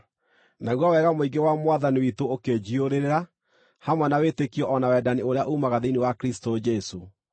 Naguo wega mũingĩ wa Mwathani witũ ũkĩnjiyũrĩrĩra, hamwe na wĩtĩkio o na wendani ũrĩa uumaga thĩinĩ wa Kristũ Jesũ.